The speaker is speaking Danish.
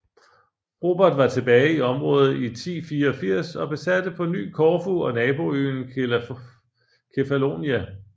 Robert var tilbage i området i 1084 og besatte på ny Korfu og naboøen Kefallonia